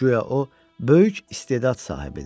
Guya o böyük istedad sahibidir.